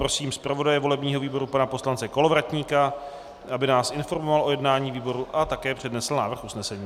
Prosím zpravodaje volebního výboru pana poslance Kolovratníka, aby nás informoval o jednání výboru a také přednesl návrh usnesení.